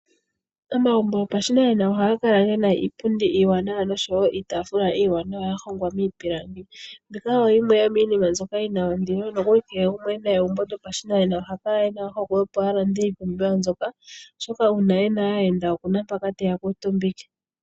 Omagumbo go pashinanena ohaga kala gena iipundi iiwanawa noshowo iitafula iiwanawa ya hongwa miipilangi, mbika oyo yimwe yomiinima mbyoka yina ondilo. Na kehe gumwe ena egumbo yopashinanena oha kala ena ohokwe opo a lande iipumbiwa mbyoka, oshoka uuna ena aayenda, okuna mpoka teya kuutumbike.